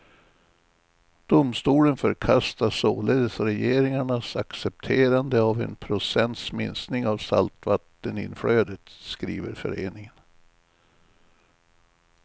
Domstolen förkastar således regeringarnas accepterande av en procents minskning av saltvatteninflödet, skriver föreningen.